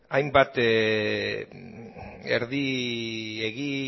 hainbat erdi egi